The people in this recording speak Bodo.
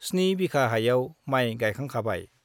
स्नि बिघा हायाव माइ गाइखांखाबाय।